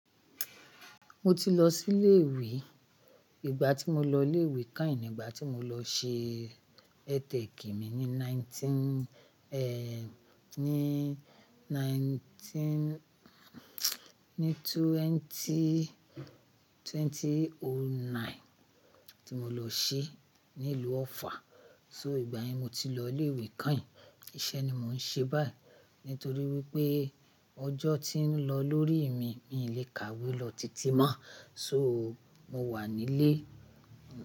Mo ti lọ sí ilé ìwé, ìgbà tí mo lọ ilé ìwé kain ìgbà tí mo lọ ṣe ETek mi ní nineteen, ní nineteen, ní twenty, twenty o nine tí mo lọ ṣe ní ìlú Ofa. So ìgbà yẹn mo ti lọ ilé ìwé kain. Iṣẹ́ ni mò ń ṣe báyìí nítorí wípé ọjọ́ ti ń lọ lórí mi, mi ò le kàwé lọ titi mọ́. So mo wà nílé.